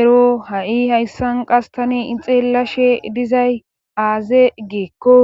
ero ha7i hayssan qas tani xeellashe dizay aaze geekko